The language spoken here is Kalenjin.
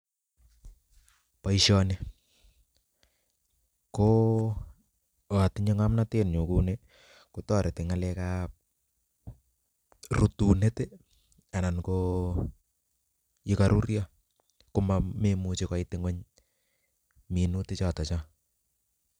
Boishoni ko ngo atinye ngomnotenyun kouni kotoreti ngalekab rutunet anan koyekoruryo komemuchi koit ingwony minutiichoton chon